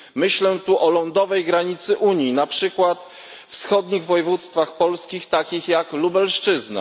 Myślę tu o lądowej granicy Unii, na przykład wschodnich województwach polskich takich jak Lubelszczyzna.